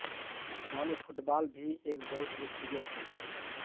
गाँव में फुटबॉल भी एक बहुत लोकप्रिय खेल है